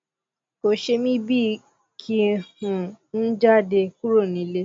kò ṣe mí bí i kí um n jáde kúrò nílè